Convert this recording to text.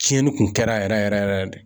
Tiɲɛni kun kɛra yɛrɛ yɛrɛ yɛrɛ de